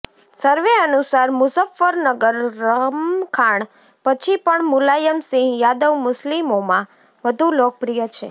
સર્વે અનુસાર મુઝફ્ફરનગર રમખાણ પછી પણ મુલાયમ સિંહ યાદવ મુસ્લિમોમાં વધુ લોકપ્રિય છે